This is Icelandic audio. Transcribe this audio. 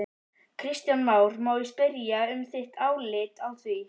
Kristján Már: Má ég spyrja um þitt álit á því?